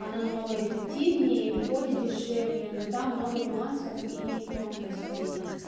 она намного эффективнее и выходит дешевле но там много нюансов и тонкостей